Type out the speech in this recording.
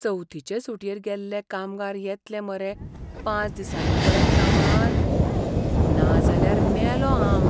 चवथीचे सुटयेर गेल्ले कामगार येतले मरे पांच दिसांनी परत कामार? नाजाल्यार मेलों हांव.